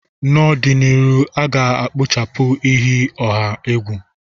N'ọdịnihu, a ga-ekpochapụ iyi ọha egwu.